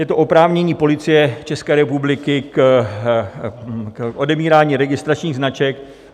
Je to oprávnění Policie České republiky k odebírání registračních značek.